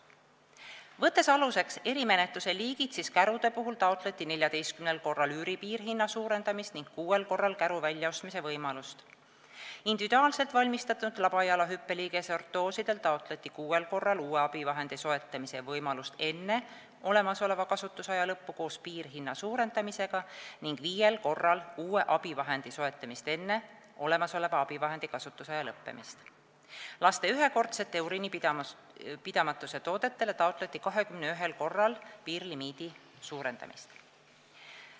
Võtame aluseks erimenetluse liigid: kärude puhul taotleti 14 korral üüri piirhinna suurendamist ning kuuel korral käru väljaostmise võimalust, individuaalselt valmistatud labajala hüppeliigese ortooside puhul taotleti kuuel korral uue abivahendi soetamise võimalust enne olemasoleva kasutusaja lõppu koos piirhinna suurendamisega ning viiel korral taotleti uue abivahendi soetamist enne olemasoleva abivahendi kasutamise aja lõppemist, laste ühekordsete uriinipidamatuse toodete puhul taotleti 21 korral piirlimiidi suurendamist.